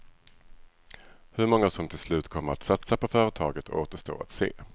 Hur många som till slut kommer att satsa på företaget återstår att se.